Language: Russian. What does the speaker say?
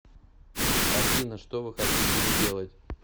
афина что вы хотите сделать